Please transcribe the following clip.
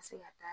se ka taa